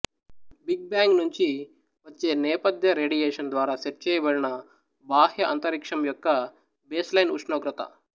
big bang నుంచి వచే నేపథ్య రేడియేషన్ ద్వారా సెట్ చేయబడిన బాహ్య అంతరిక్షం యొక్క బేస్లైన్ ఉష్ణోగ్రత